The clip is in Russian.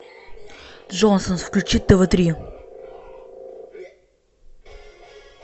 джонсонс включи тв три